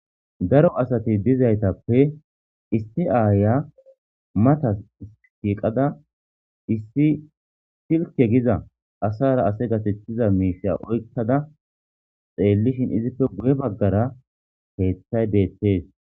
Daro asati dizaytappe issi aayiya matan shiiqada issi silke giza asara ase gathethiza miishsha oykada xeellishin izippe guye baggara keeththay beettees.